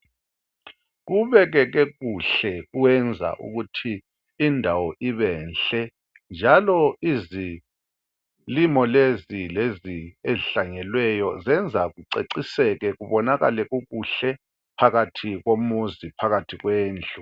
Kubekeke kuhle kwenza ukuthi indawo ibe nhle njalo izilimo lezi ezihlanyelweyo zenza kuceciseke kubonakale ubuhle phakathi komuzi phakathi kwendlu.